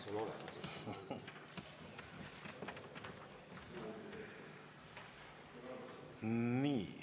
Nii!